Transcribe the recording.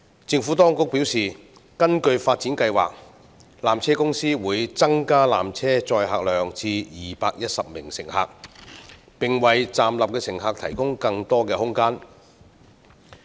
政府當局表示，根據發展計劃，纜車公司會增加纜車載客量至210名乘客，並為站立的乘客提供更多空間。